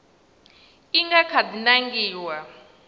i nga kha di nangiwa